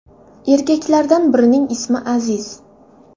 Erkaklardan birining ismi Aziz.